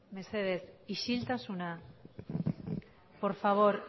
mesedez isiltasuna por favor